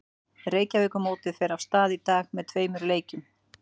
Reykjavíkurmótið fer af stað í dag með tveim leikjum.